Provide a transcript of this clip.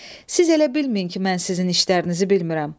Siz elə bilməyin ki, mən sizin işlərinizi bilmirəm.